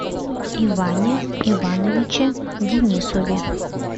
иване ивановиче денисове